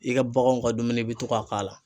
I ka baganw ka dumuni i be to ka k'a la